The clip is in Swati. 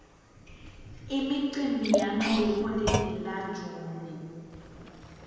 imicimbi yangeliholide la june